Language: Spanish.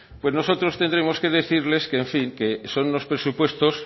pues nosotros tendremos que decirles que en fin que son unos presupuestos